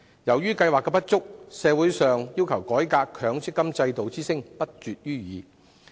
由於計劃存在不足，社會上要求改革之聲亦不絕於耳。